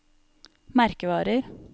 merkevarer